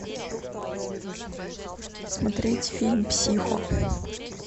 смотреть фильм психо